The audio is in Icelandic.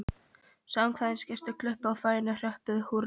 Samkvæmisgestir klöppuðu og fáeinir hrópuðu húrra.